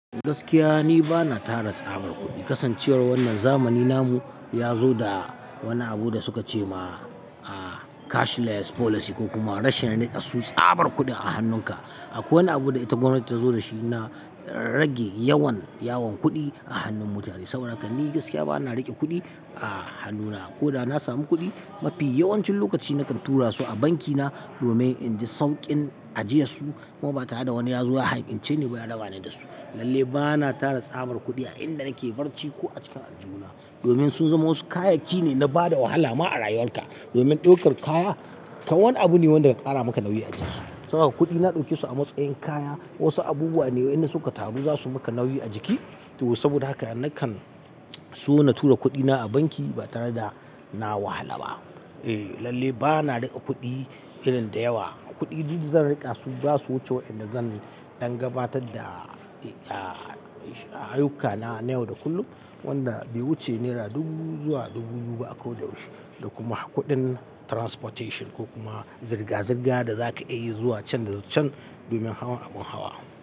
Gaskiya ni bana tara tsabar kuɗi. Kasancewar wannan zamani namu yazo da wani abu da suka ce ma cash less policy ko kuma rashin riƙe su tsabar kuɗin a hannunka. Akwai wani abu da ita gwamnati ta zo da shi na rage yawan yawon kuɗi a hannun mutane. Saboda haka ni gaskiya bana riƙe kuɗi a hannuna. Ko da na samu kuɗi mafi yawancin lokaci nakan tura su a banki na domin in ji sauƙin ajiyesu kuma ba tare da wani ya zo ya ha inceni ba ya rabani da su. Lallai bana tara tsabar kuɗi a inda nake barci ko a cikin aljihu na domin sun zamo wasu kayayyaki ne na bada wahala ma a rayuwar ka. Domin ɗaukar kaya kan wani abu ne wanda ka ƙara maka nauyi a jiki. Tsabar kuɗi na ɗaukesu a matsayin kaya wasu abubuwa wa inda suka taru zasu maka nauyi a jiki. To saboda haka nakan so na tura kuɗina a banki ba tare da na wahala ba. Eh lalle bana riƙa kuɗi irin da yawa. Kuɗi duk zan riƙa su basu wuce wa inda zan ɗan gabatar da ayyukana na yau da kullum. Wanda bai wuce Naira dubu zuwa dubu biyu ba a koda yaushe. Da kuma kuɗin transportation ko kuma zirga-zirga da zaka iya yi zuwa can da can domin hawa abin hawa.